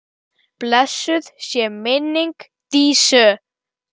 Blessuð sé minning Dísu.